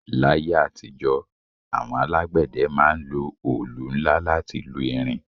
L'ayé àtijọ́, àwọn alágbẹ̀dẹ ma ń lo olù nla láti lu irin